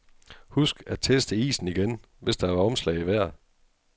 Husk at teste isen igen, hvis der har været omslag i vejret.